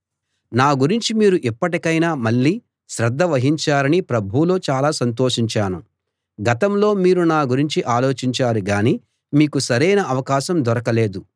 నా గురించి మీరు ఇప్పటికైనా మళ్ళీ శ్రద్ధ వహించారని ప్రభువులో చాలా సంతోషించాను గతంలో మీరు నా గురించి ఆలోచించారు గానీ మీకు సరైన అవకాశం దొరకలేదు